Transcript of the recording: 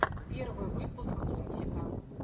первый выпуск лунтика